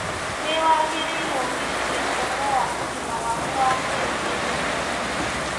Nĩ wagĩrĩirũo gwĩciria ũhoro wa ũgima waku wa mwĩrĩ hĩndĩ ciothe.